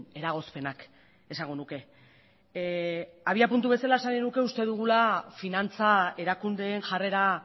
eragozpenak esango nuke abiapuntu bezala esan nahi nuke uste dugula finantza erakundeen jarrera